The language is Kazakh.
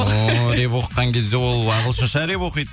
ооо рэп оқыған кезде ол ағылшыншы рэп оқиды